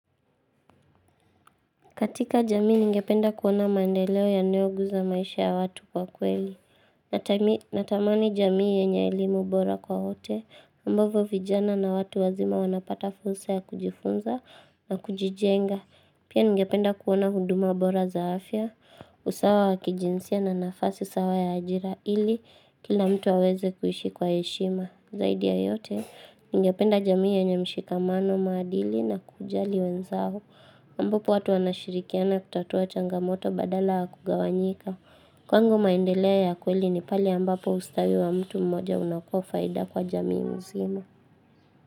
Katika jamii ningependa kuona mandeleo yanayoguza maisha ya watu kwa kweli. Natamani jamii yenye elimu bora kwa wote. Ambovyo vijana na watu wazima wanapata fursa ya kujifunza na kujijenga. Pia ningependa kuona huduma bora za afya, usawa wa kijinsia na nafasi sawa ya ajira ili kila mtu aweze kuishi kwa heshima. Zaidi ya yote ningependa jamii yenye mshikamano maadili na kujali wenzao. Ambapo watu wanashirikiana kutatua changamoto badala ya kugawanyika Kwangu maendeleo ya kweli ni pale ambapo ustawi wa mtu mmoja unakua faida kwa jamii mzima.